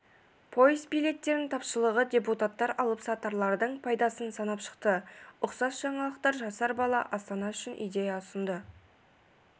пойыз билеттерінің тапшылығы депутаттар алыпсатарлардың пайдасын санап шықты ұқсас жаңалықтар жасар бала астана үшін идея ұсынды